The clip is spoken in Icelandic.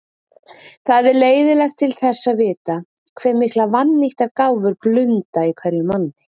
Það er leiðinlegt til þess að vita, hve miklar vannýttar gáfur blunda í hverjum manni.